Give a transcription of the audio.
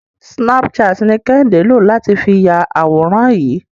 Snapchat ni Kẹ́hìndé lò láti fi ya àwòrán yìí.